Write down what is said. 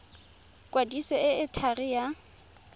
kwadiso e e thari ya